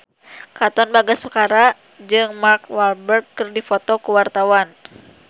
Katon Bagaskara jeung Mark Walberg keur dipoto ku wartawan